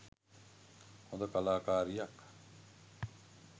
හොඳ කලාකාරියක්.